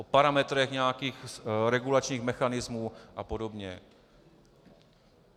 O parametrech nějakých regulačních mechanismů a podobně.